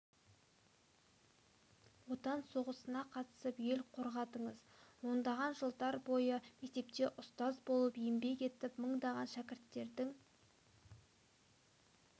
отан соғысына қатысып ел қорғадыңыз ондаған жылдар бойы мектепте ұстаз болып еңбек етіп мыңдаған шәкірттердің